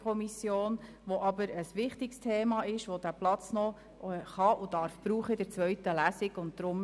Es handelt sich aber um ein wichtiges Thema, welches den Raum der zweiten Lesung nutzen kann und darf.